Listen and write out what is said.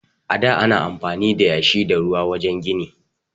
A da ana amfani da yashi da ruwa wajen gini.